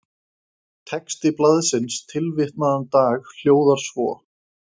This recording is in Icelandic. Texti blaðsins tilvitnaðan dag hljóðar svo